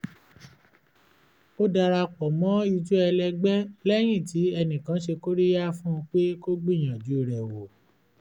ó dara pọ̀ mọ́ ijó ẹlẹ́gbẹ́ lẹ́yìn tí enìkan ṣe kóríyá fún un pé kó gbíyanju rẹ̀ wò